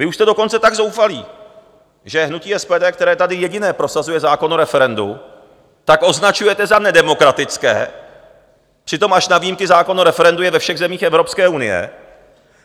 Vy už jste dokonce tak zoufalí, že hnutí SPD, které tady jediné prosazuje zákon o referendu, tak označujete za nedemokratické, přitom až na výjimky zákon o referendu je ve všech zemích Evropské unie,